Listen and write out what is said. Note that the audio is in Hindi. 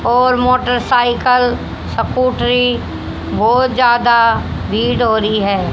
और मोटर साइकल सकुटरी बहोत ज्यादा भीड़ हो रही है।